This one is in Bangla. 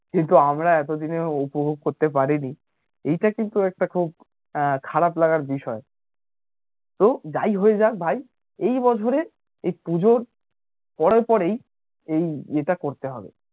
কিন্তু আমরা এতোদিনেও উপভোগ করতে পারি নি এইটা কিন্তু একটা খুব আহ খারাপ লাগার বিষয় তো যাই হয়ে যাক ভাই এই বছরে এই পুজোর পরে পরেই এই এটা করতে হবে